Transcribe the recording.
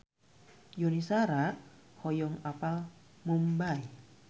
Yuni Shara hoyong apal Mumbay